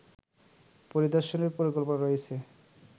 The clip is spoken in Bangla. পরিদর্শনের পরিকল্পনা রয়েছে